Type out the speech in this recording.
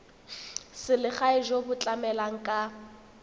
selegae jo bo tlamelang ka